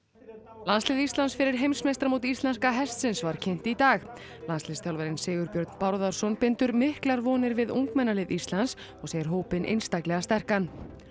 landslið Íslands fyrir heimsmeistaramót íslenska hestsins var kynnt í dag landsliðsþjálfarinn Sigurbjörn Bárðarson bindur miklar vonir við ungmennalið Íslands og segir hópinn einstaklega sterkan novak